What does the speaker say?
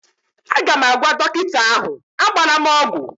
Aga m agwa dọkịta ahụ, agbala m ọgwụ!